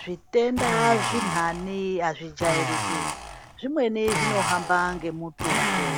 Zvitenda zvintani azvijairiki zvimweni zvinohamba ngemututu